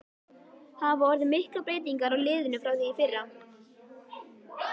Hafa orðið miklar breytingar á liðinu frá því í fyrra?